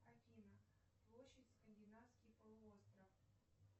афина площадь скандинавский полуостров